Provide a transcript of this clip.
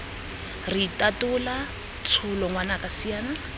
re itatola tsholo ngwanaka siana